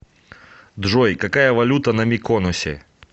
джой какая валюта на миконосе